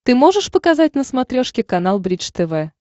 ты можешь показать на смотрешке канал бридж тв